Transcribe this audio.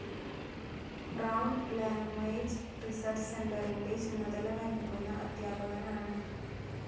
Brown language research സെന്ററിന്റെ ചുമതല വഹിക്കുന്ന അദ്ധ്യാപകനാണ്.